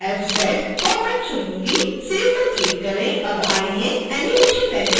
save पर click करें अब आइए एनीमेशन रेंडर करते हैं